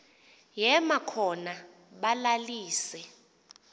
yema khona balalise